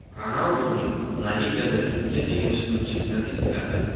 Ronalduning La Ligada to‘pga teginish bo‘yicha statistikasi.